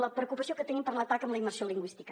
la preocupació que tenim per l’atac a la immersió lingüística